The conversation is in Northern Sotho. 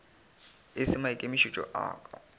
e se maikemišetšo a ka